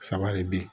Saba de be yen